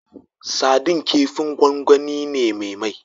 Sadin kifin gwangwani ne me mai